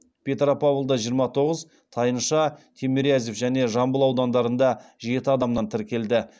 петропавлда жиырма тоғыз тайынша тимирязев және жамбыл аудандарында жеті адамнан тіркелді